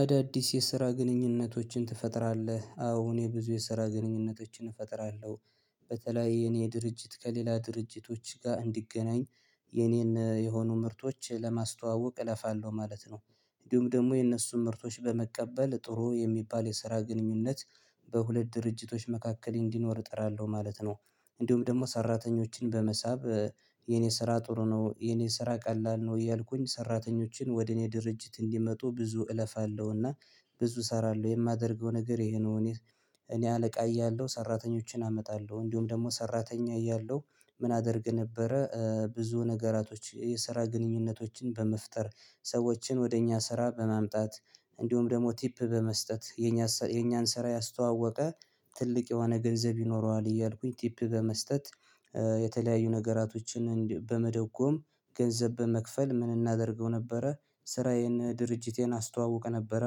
አዳዲስ የስራ ግንኙነቶችን ትፈጥራለህ? አዎ እኔ ብዙ የስራ ግንኙነቶችን እፈጥራለሁ በተለይ የኔ ድርጅት ከሌላ ድርጅቶች ጋር እንዲገናኝ የኔን የሆኑ ምርቶች ለማስተዋወቅ እለፋለሁ ማለት ነው እንዲሁም ደግሞ የእነሱን ምርቶች በመቀበል ጥሩ የሚባል የስራ ግንኙነት በሁለት ድርጅቶች መካከል እንዲኖር እጥራለሁ ማለት ነው እንዲሁም ደግሞ ሰራተኞችን በመሳብ የኔ ስራ ጥሩ ነው የኔ ስራ ቀላል ነው እያልኩኝ ሰራተኞችን ወደ እኔ ድርጅት እንዲመጡ ብዙ እለፋለሁና ብዙ እሰራለሁ የማደርገው ነገር ይሄ ነው እኔ እኔ አለቃ እያለሁ ሰራተኞችን አመጣለሁ እንዲሁም ደግሞ ሰራተኛ እያለሁ ምን አደርግ ነበረ ብዙ ነገራቶች የስራ ግንኙነቶችን በመፍጠር ሰዎችን ወደ እኛ ስራ በማምጣት እንዲሁም ደግሞ ቲፕ በመስጠት የኛ የኛን ስራ ያስተዋወቀ ትልቅ የሆነ ገንዘብ ይኖረዋል እያልኩኝ ቲፕ በመስጠት የተለያዩ ነገራቶችን በመደጎም ገንዘብ በመክፈል ምን እናደርገው ነበረ ስራዬን ድርጅቴን አስተዋውቅ ነበረ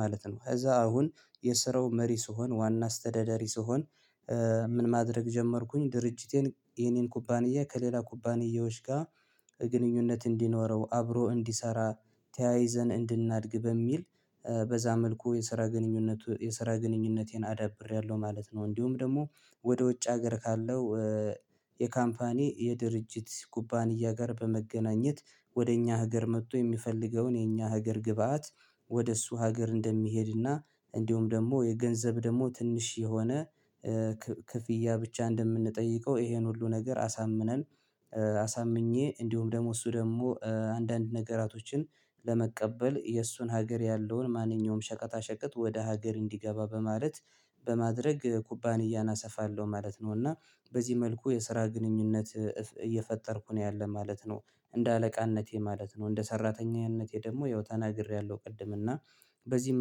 ማለት ነው ከዛ አሁን የስራው መሪ ስሆን ዋና አስተዳደሪ ስሆን ምን ማድረግ ጀመርኩኝ ድርጅቴን የኔን ኩባንያ ከሌላ ኩባንያዎች ጋር ግንኙነት እንዲኖረው አብሮ እንዲሰራ ተያይዘን እንድናድግ በሚል በዛ መልኩ የስራ ግንኙነቱ የስራ ግንኙነቴን አዳብሬያለሁ ማለት ነው እንዲሁም ደግሞ ወደ ውጭ ሀገር ካለው የካምፓኒ የድርጅት ኩባንያ ጋር በመገናኘት ወደ እኛ ሀገር መጥቶ የሚፈልገውን የኛ ሀገር ግብአት ወደ እሱ ሀገር እንደሚሄድና እንዲሁም ደግሞ የገንዘብ ደግሞ ትንሽ የሆነ ክፍያ ብቻ እንደምንጠይቀው ይሄን ሁሉ ነገር አሳምነን አሳምኜ እንዲሁም ደግሞ እሱ ደግሞ አንዳንድ ነገራቶችን ለመቀበል የእሱን ሀገር ያለውን ማንኛውም ሸቀጣ ሸቀጥ ወደ ሀገር እንዲገባ በማለት በማድረግ ኩባንያና አሰፋለሁ ማለት ነው እና በዚህ መልኩ የስራ ግንኙነት እየፈጠርኩ ነው ያለ ማለት ነው እንደ አለቃነቴ ማለት ነው እንደ ሰራተኛነቴ ደግሞ ያው ተናግሬያለሁ ቅድም እና በዚህ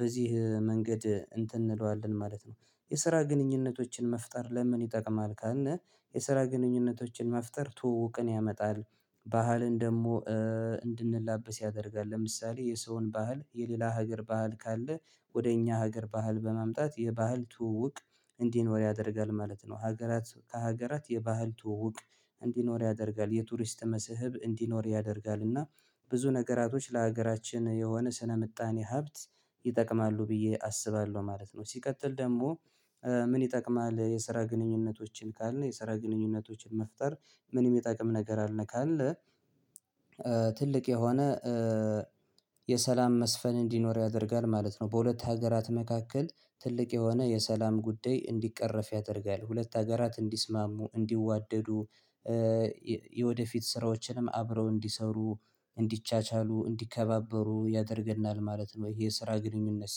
በዚህ መንገድ እንትን እንለዋለን ማለት ነው የስራ ግንኙነቶችን መፍጠር ለምን ይጠቅማል ካልነ የስራ ግንኙነቶችን መፍጠር ትውውቅን ያመጣል ባህልን ደግሞ እንድንላበስ ያደርጋል ለምሳሌ የሰውን ባህል የሌላ ሀገር ባህል ካለ ወደ እኛ ሀገር ባህል በማምጣት የባህል ትውውቅ እንዲኖር ያደርጋል ማለት ነው ሀገራት ከሀገራት የባህል ትውውቅ እንዲኖር ያደርጋል የቱሪስት መስህብ እንዲኖር ያደርጋል እና ብዙ ነገራቶች ለሀገራችን የሆነ ስነ ምጣኔ ሀብት ይጠቅማሉ ብዬ አስባለሁ ማለት ነው ሲቀጥል ደግሞ ምን ይጠቅማል የስራ ግንኙነቶችን ካልነ የስራ ግንኙነቶችን መፍጠር ምን የሚጠቅም ነገር አለ ካልነ ትልቅ የሆነ የሰላም መስፈን እንዲኖር ያደርጋል ማለት ነው በሁለት ሀገራት መካከል ትልቅ የሆነ የሰላም ጉዳይ እንዲቀረፍ ያደርጋል ሁለት ሀገራት እንዲስማሙ እንዲዋደዱ የወደፊት ስራዎችንም አብረው እንዲሰሩ እንዲቻቻሉ እንዲከባበሩ ያደርግልናል ማለት ነው የስራ ግንኙነት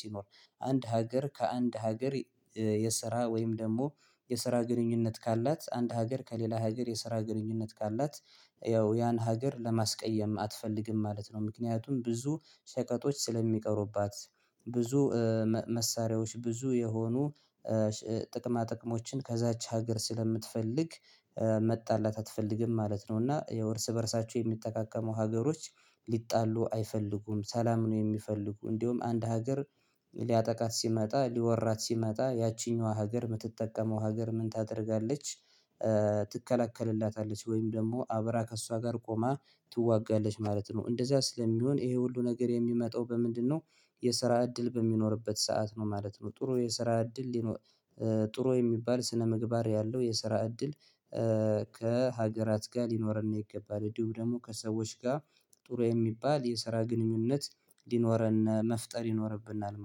ሲኖር አንድ ሀገር ከአንድ ሀገር የስራ ወይም ደግሞ የስራ ግንኙነት ካላት አንድ ሀገር ከሌላ ሀገር የስራ ግንኙነት ካላት ያው ያን ሀገር ለማስቀየም አትፈልግም ማለት ነው ምክንያቱም ብዙ ሸቀጦች ስለሚቀሩባት ብዙ መሳሪያዎች ብዙ የሆኑ ጥቅማ ጥቅሞችን ከዛች ሀገር ስለምትፈልግ መጣላት አትፈልግም ማለት ነው እና ያው እርስ በእርሳቸው የሚጠቃቀሙ ሀገሮች ሊጣሉ አይፈልጉም ሰላም ነው የሚፈልጉ እንዲሁም አንድ ሀገር ሊያጠቃት ሲመጣ ሊወራት ሲመጣ ያቺኛዋ ሀገር የምትጠቀመው ሀገር ምን ታደርጋለች ትከላከልላታለች ወይም ደግሞ አብራ ከእሷ ጋር ቆማ ትዋጋለች ማለት ነው እንደዚያ ስለሚሆን ይሄ ሁሉ ነገር የሚመጣው በምንድነው የስራ እድል በሚኖርበት ሰዓት ነው ማለት ነው ጥሩ የስራ እድል ሊኖር ጥሩ የሚባል ስነምግባር ያለው የስራ እድል ከሀገራት ጋር ሊኖረን ይገባል እንዲሁ ደግሞ ከሰዎች ጋር ጥሩ የሚባል የስራ ግንኙነት ሊኖረነ መፍጠር ይኖርብናል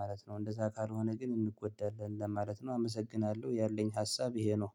ማለት ነው እንደዛ ካልሆነ ግን እንጎዳለን ለማለት ነው አመሰግናለሁ ያለኝ ሀሳብ ይሄ ነው